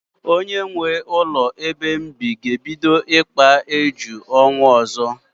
Onye nwee ụlọ ebe m bi ga-ebido ikpa éjù n'ọnwa ọzọ.